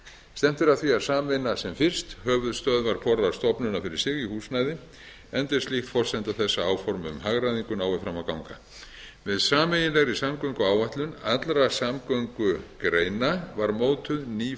að því að sameina sem fyrst höfuðstöðvar hvorrar stofnunar fyrir sig í húsnæði enda er slíkt forsenda þess að áform um hagræðingu nái fram að ganga með sameiginlegri samgönguáætlun allra samgöngugreina var mótuð ný